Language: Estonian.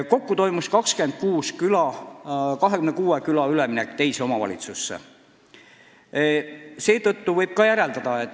Kokku läks teise omavalitsusse 26 küla.